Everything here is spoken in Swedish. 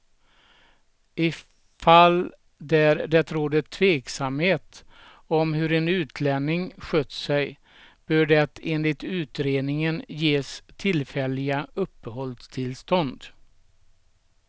I fall där det råder tveksamhet om hur en utlänning skött sig bör det enligt utredningen ges tillfälliga uppehållstillstånd.